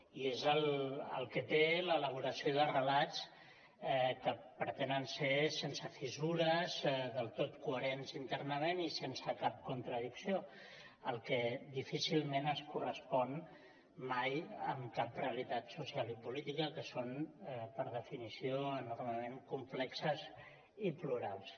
i és el que té l’elaboració de re·lats que pretenen ser sense fissures del tot coherents internament i sense cap contra·dicció el que difícilment es correspon mai amb cap realitat social i política que són per definició enormement complexes i plurals